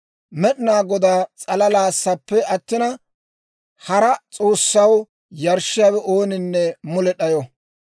«Med'inaa Godaa s'alalaassappe attina, hara s'oossaw yarshshiyaawe ooninne mule d'ayo.